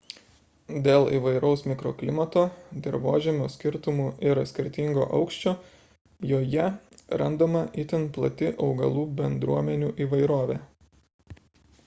dėl įvairaus mikroklimato dirvožemio skirtumų ir skirtingo aukščio joje randama itin plati augalų bendruomenių įvairovė